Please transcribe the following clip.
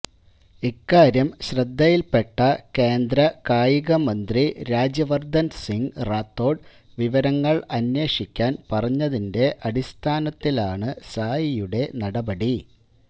ഇക്കാര്യം ശ്രദ്ധയില്പ്പെട്ട കേന്ദ്രകായിക മന്ത്രി രാജ്യവര്ധന് സിങ് റാത്തോഡ് വിവരങ്ങള് അന്വേഷിക്കാന് പറഞ്ഞതിന്റെ അടിസ്ഥാനത്തിലാണ് സായിയുടെ നടപടി